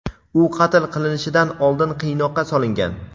u qatl qilinishidan oldin qiynoqqa solingan.